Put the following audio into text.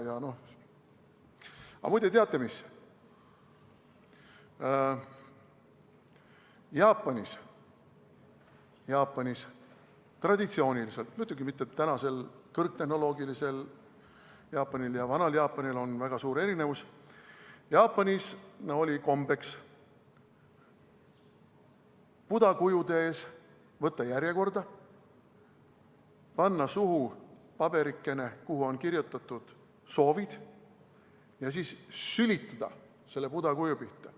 Aga muide, teate mis, Jaapanis oli traditsiooniliselt – muidugi mitte tänases Jaapanis, sest kõrgtehnoloogilise Jaapani ja vana Jaapani vahel on väga suur erinevus – kombeks võtta Buda kuju ees järjekorda, panna suhu paberikene, kuhu olid kirjutatud soovid, ja siis sülitada Buda kuju pihta.